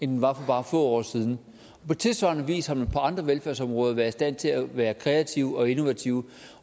den var for bare få år siden på tilsvarende vis har man på andre velfærdsområder været i stand til at være kreativ og innovativ